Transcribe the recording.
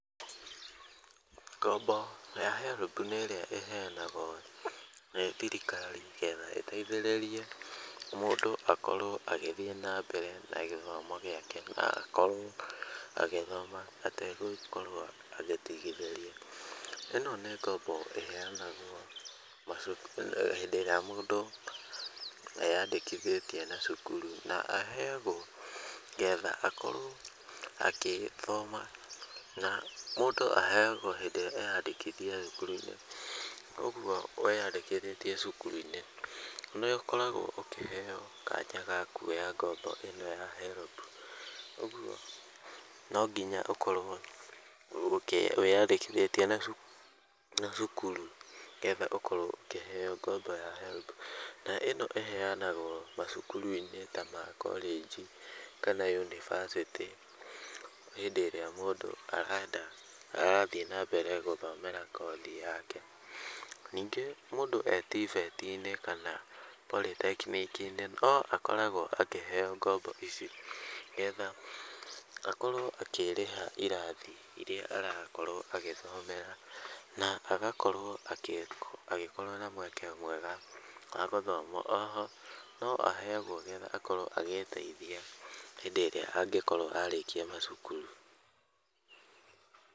Ngombo ya HELB nĩ ĩrĩa ĩheanagwo nĩ thirikari getha ĩteithĩrĩrie mũndũ akorwo agĩthiĩ na mbere na gĩthomo gĩake na akorwo agĩgĩthoma ategũgĩkorwo agĩtigithĩria. ĩno nĩ ngombo ĩheanagwo macukur-inĩ hĩndĩ ĩrĩa mũndũ eyandĩkithĩtie cukuru. Na aheagwo getha akorwo agĩthoma na mũndũ aheagwo hĩndĩ ĩrĩa eyandĩkithia thukuru-inĩ. Ũguo weyandĩkithĩtie cukuru-inĩ nĩ ũkoragwo ũkĩheo kanya gaka ga kuoya ngombo ĩno ya HELB. Ũguo no nginya ũkorwo wĩyandĩkithĩtie na cukuru getha ũkorwo ũkĩheo ngombo ya HELB. Na ĩno ĩheanagwo thukuru-inĩ ta ma college kana yunivasĩtĩ hĩndĩ ĩrĩa mũndũ arenda arathiĩ nambere gũthomera kothi yake. Ningĩ mũndũ e TVET kana Polythechnic no akoragwo akĩheo ngombo ici, getha akorwo akĩrĩha irathi irĩa arakorwo agĩthomera na agakorwo agĩkorwo na mweke mwega wa gũthoma. O ho no aheagwo nĩgetha akorwo agĩĩteithia hĩndĩ ĩrĩa angĩkorwo arĩkia macukuru.